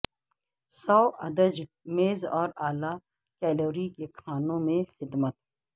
سوادج میز اور اعلی کیلوری کے کھانوں میں خدمت